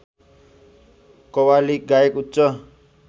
कव्वाली गायक उच्च